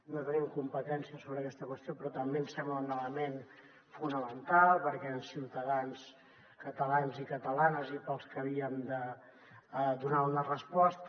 no tenim competència sobre aquesta qüestió però també ens sembla un element fonamental perquè eren ciutadans catalans i catalanes i per als que havíem de donar una resposta